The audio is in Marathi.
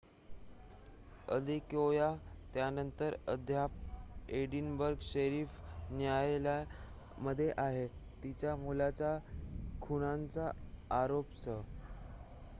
अदेकोया त्यानंतर अद्याप एडिनबर्ग शेरीफ न्यायालयामध्ये आहे तिच्या मुलाच्या खुनाच्या आरोपासह